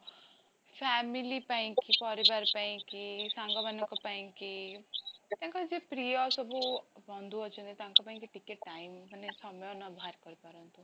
family ପାଇଁକି, ପରିବାର ପାଇଁକି, ସାଙ୍ଗ ମାନଙ୍କ ପାଇଁକି, ତାଙ୍କ ଯୋଉ ପ୍ରିୟ ସବୁ ବନ୍ଧୁ ଅଛନ୍ତି ତାଙ୍କ ପାଇଁ ଟିକେ time ମାନେ ସମୟ ନବାହାର କରି ପାରନ୍ତୁ